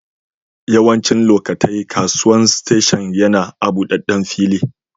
Yawancin lokatai kasuwan station yana a'budaden fili.